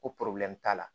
Ko t'a la